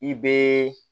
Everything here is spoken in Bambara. I bɛ